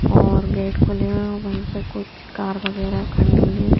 और गेट खुले हुए हैं वहीं पे कुछ कार वगैरह खड़ी हुई हैं।